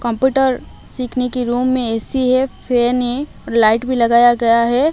Computer सीखने के room मे ए_सी है फैन है लाइट भी लगाया गया है।